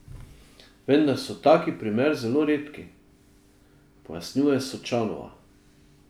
Vendar so taki primer zelo redki, pojasnjuje Sočanova.